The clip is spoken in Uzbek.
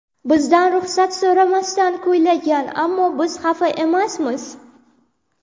Bizdan ruxsat so‘ramasdan kuylagan, ammo biz xafa emasmiz.